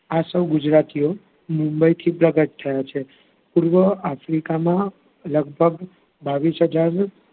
આ સૌવ ગુજરાતીઓ મુંબઈથી પ્રગટ થયાં છે. પૂર્વ આફ્રિકામાં લગભગ બાવીશ હજાર,